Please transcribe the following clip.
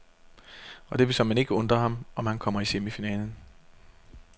Og det vil såmænd ikke undre ham, om han kommer i semifinalen.